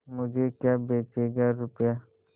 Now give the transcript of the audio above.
मुझे क्या बेचेगा रुपय्या